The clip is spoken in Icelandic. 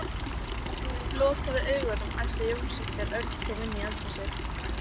Þremur vikum síðar kom Vestmann frá Túnis.